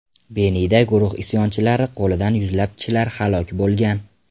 Benida guruh isyonchilari qo‘lidan yuzlab kishilar halok bo‘lgan.